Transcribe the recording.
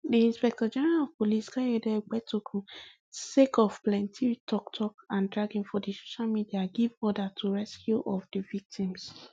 di inspectorgeneral of police kayode egbetokun sake of plenti toktok and dragging for di social media give order to rescue of di victims